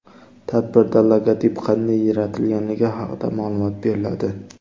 Tadbirda logotip qanday yaratilganligi haqida ma’lumot beriladi.